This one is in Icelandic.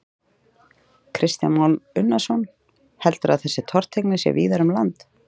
Kristján Már Unnarsson: Heldurðu að þessi tortryggni sé víðar um land?